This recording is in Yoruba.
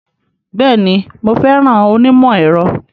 Bẹ́ẹ̀ni, mo fẹ́ràn onímọ̀-ẹ̀rọ.